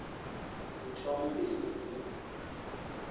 mthombeni